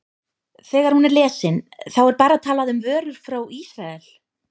Þegar hún er lesin, þá er bara talað um vörur frá Ísrael?